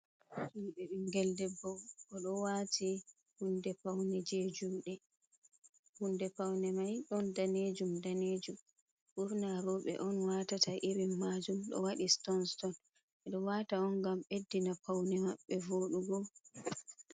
Hibe bingel debbo ,o do wati jehunde paune ,mai don danejum danejum burna robe on watata irin majum do wadi stonstot ,edo wata on gam beddina paune mabbe vodugo.